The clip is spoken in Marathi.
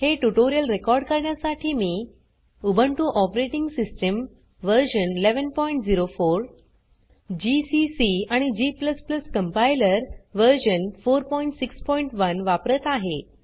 हे ट्यूटोरियल रेकॉर्ड करण्यासाठी मी Ubuntu operating system version 1104 GCC आणि g कंपाइलर व्हर्शन 461 वापरत आहे